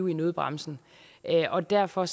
i nødbremsen og derfor